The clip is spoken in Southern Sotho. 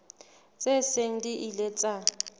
tse seng di ile tsa